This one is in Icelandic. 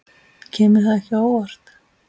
Kemur það ekki á óvart.